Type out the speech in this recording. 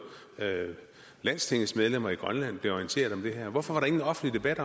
landstingets medlemmer i grønland blev orienteret om det her hvorfor var ingen offentlig debat